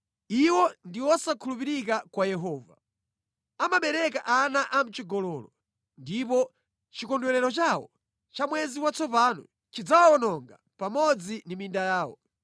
Iwo ndi osakhulupirika kwa Yehova; amabereka ana amʼchigololo ndipo chikondwerero chawo cha mwezi watsopano chidzawawononga pamodzi ndi minda yawo.